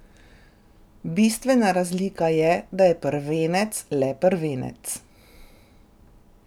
Bistvena razlika je, da je prvenec le prvenec.